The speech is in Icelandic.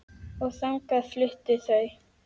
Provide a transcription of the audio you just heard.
Og þangað fluttu þau.